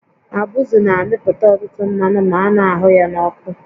Abụzụ na-amịpụta ọtụtụ mmanụ ma a na-ahụ ya n'ọkụ